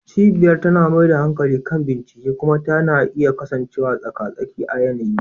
Cibiyar tana mai da hankali kan bincike kuma tana iya kasancewa tsaka-tsaki a yanayi.